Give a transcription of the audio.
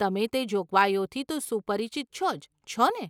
તમે તે જોગવાઈઓથી તો સુપરિચિત છો જ, છોને?